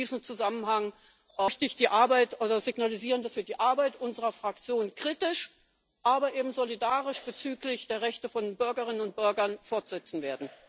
In diesem Zusammenhang möchte ich signalisieren, dass wir die Arbeit unserer Fraktion kritisch, aber eben solidarisch bezüglich der Rechte von Bürgerinnen und Bürgern fortsetzen werden.